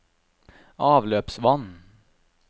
avløpsvann